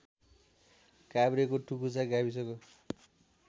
काभ्रेको टुकुचा गाविसको